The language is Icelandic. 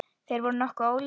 Þeir voru nokkuð ólíkir.